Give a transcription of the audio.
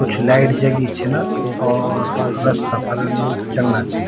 कुछ लाइट जगीं छिन और रस्ता पर लोग चलना छिन।